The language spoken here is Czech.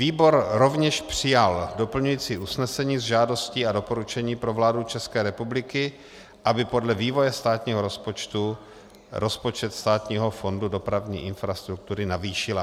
Výbor rovněž přijal doplňující usnesení s žádostí a doporučení pro vládu České republiky, aby podle vývoje státního rozpočtu rozpočet Státního fondu dopravní infrastruktury navýšila.